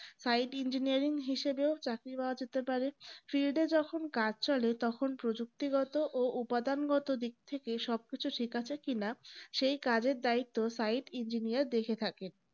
sightengineer হিসেবেও চাকরি পাওয়া যেতে পারে field এ যখন কাজ চলে তখন প্রযুক্তিগত ও উপাদান্গত দিক থেকে সবকিছু ঠিক আছে কিনা সেই কাজের দায়িত্ব sight engineer দেখে থাকেন